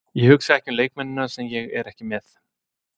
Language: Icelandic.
Ég hugsa ekki um leikmennina sem ég er ekki með.